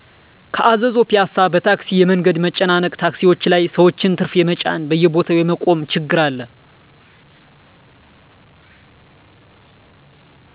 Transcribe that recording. ከአዘዞ ፒያሳ በታክሲ የመንገድ መጨናነቅ ታክሲዎች ላይ ሰዎችን ትርፍ የመጫን በየቦታዉ የመቆም ችግር አለ